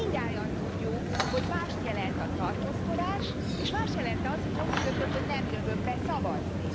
Mindnyájan tudjuk, hogy mást jelent a tartózkodás és más jelent az, hogy ha úgy döntök, hogy nem jövök be szavazni.